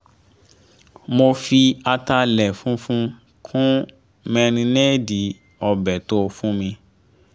mo fi ataalẹ̀ funfun kun márínéèdì ọbẹ tófù mi